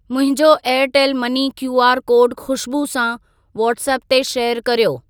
मुंहिंजो Airtel money QR code Khushboo सां व्हाट्सएप ते शेयर कर्यो।